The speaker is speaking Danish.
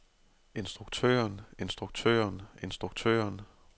instruktøren instruktøren instruktøren